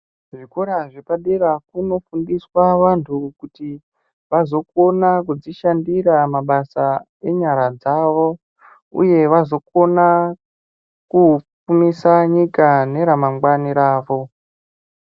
Zvikora zvepadera kunofundiswa vantu kuti vazokona kudzishandira mabasa enyara dzavo uye vazokona kupfumisa nyika neramangwani ravo.